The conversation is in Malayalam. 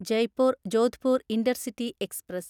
Jaipur Jodhpur intercity express